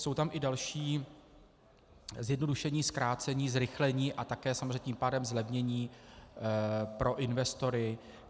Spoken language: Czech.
Jsou tam i další zjednodušení, zkrácení, zrychlení a také samozřejmě tím pádem zlevnění pro investory.